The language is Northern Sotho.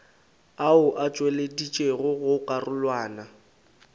ao a tšweleditšwego go karolwana